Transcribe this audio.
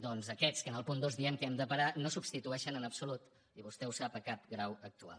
doncs aquests que en el punt dos diem que hem de parar no substitueixen en absolut i vostè ho sap cap grau actual